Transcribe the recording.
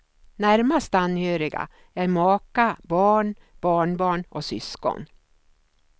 Närmast anhöriga är maka, barn, barnbarn och syskon.